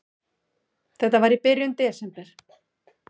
Þetta var í byrjun desember.